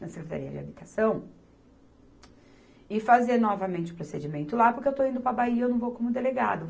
na Secretaria de Habitação e fazer novamente o procedimento lá, porque eu estou indo para a Bahia, e eu não vou como delegado.